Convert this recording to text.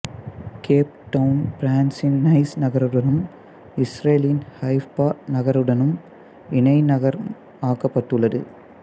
gap Town பிரான்சின் Nice நகருடனும் இஸ்ரேலின் ஹைஃபா நகருடனும் இணை நகரம் ஆக்கப்பட்டுள்ளது